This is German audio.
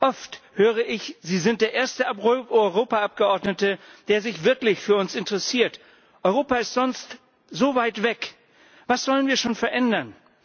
Oft höre ich Sie sind der erste Europaabgeordnete, der sich wirklich für uns interessiert, Europa ist sonst so weit weg, was sollen wir schon verändern.